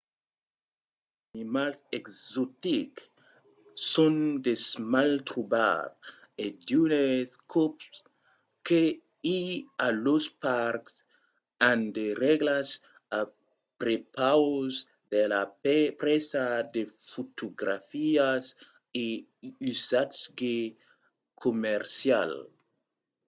mantes animals exotics son de mal trobar e d'unes còps que i a los parcs an de règlas a prepaus de la presa de fotografias a usatge comercial